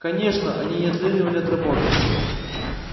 конечно они не отлынивали от работы